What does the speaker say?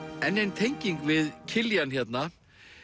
enn ein tenging við Kiljan hérna